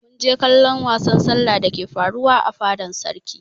Mun je kallon wasan sallah dake faruwa a fadan sarki.